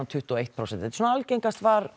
tuttugu og eitt prósent algengast var